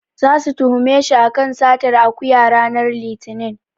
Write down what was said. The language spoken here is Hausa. Zasu tuhume shi a kan satar akuya ranar Litinin.